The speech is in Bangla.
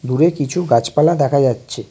দূরে কিছু গাছপালা দেখা যাচ্ছে।